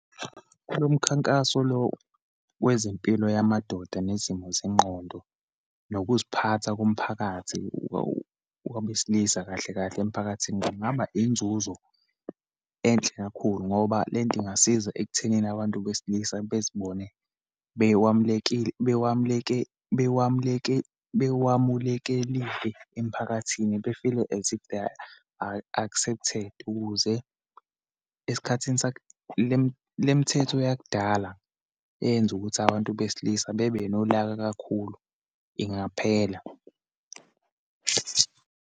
Kulo mkhankaso lo wezempilo yamadoda, nezimo zengqondo, nokuziphatha komphakathi wabesilisa kahle kahle emiphakathini, kungaba inzuzo enhle kakhulu, ngoba lento ingasiza ekuthenini abantu besilisa bezibone bewamulekile, bewamuleke, bewamuleke, bewamulekelile, emphakathini be-feel-e as if they are accepted, ukuze esikhathini le mithetho yakudala eyenza ukuthi abantu besilisa bebe nolaka kakhulu ingaphela.